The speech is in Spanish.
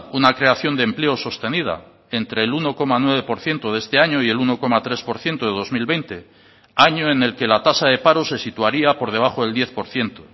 una creación de empleo sostenida entre el uno coma nueve por ciento de este año y el uno coma tres por ciento de dos mil veinte año en el que la tasa de paro se situaría por debajo del diez por ciento